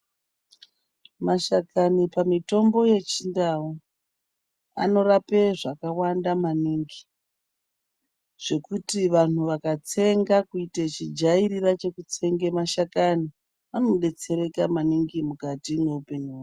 Mashakani pamitombo yechindau ,anorapwe zvakawanda maningi, zvekuti vantu vakatsenga, chijairira chekutsenge mashakani, anodetsereka maningi mukati mweupenyu hwavo.